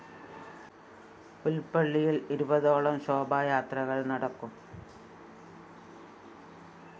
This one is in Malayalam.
പുല്‍പ്പള്ളിയില്‍ ഇരുപതോളം ശോഭായാത്രക ള്‍ നടക്കും